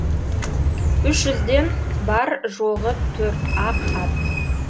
үш жүзден бар жоғы төрт ақ ат